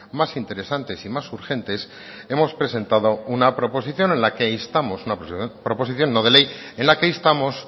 más interesantes y más urgentes hemos presentado una proposición en la que instamos una proposición no de ley en la que instamos